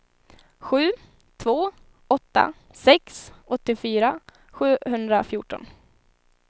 sju två åtta sex åttiofyra sjuhundrafjorton